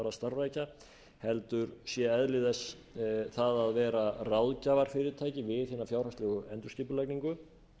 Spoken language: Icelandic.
að starfrækja heldur sé eðli þess það að vera ráðgjafarfyrirtæki við hina fjárhagslegu endurskipulagningu